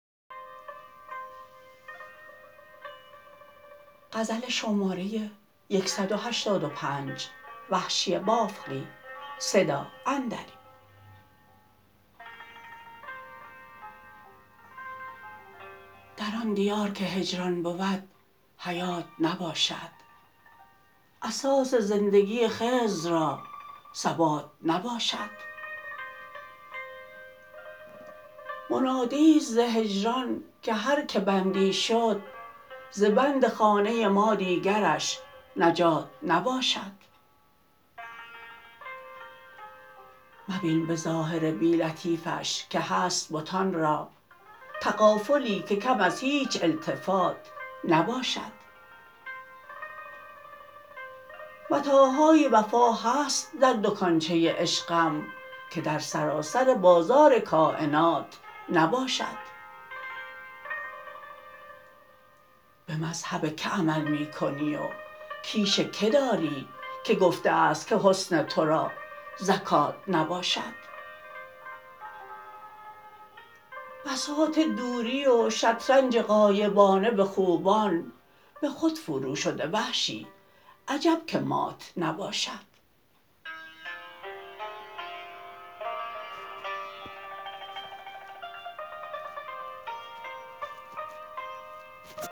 در آن دیار که هجران بود حیات نباشد اساس زندگی خضر را ثبات نباشد منادی است ز هجران که هر که بندی شد ز بند خانه ما دیگرش نجات نباشد مبین به ظاهر بی لطفیش که هست بتان را تغافلی که کم از هیچ التفات نباشد متاعهای وفا هست در دکانچه عشقم که در سراسر بازار کاینات نباشد به مذهب که عمل می کنی و کیش که داری که گفته است که حسن ترا زکات نباشد بساط دوری و شطرنج غایبانه به خوبان به خود فرو شده وحشی عجب که مات نباشد